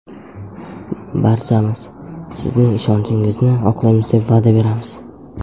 Barchamiz sizning ishonchingizni oqlaymiz deb va’da beramiz.